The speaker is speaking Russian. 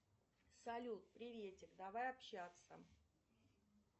салют приветик давай общаться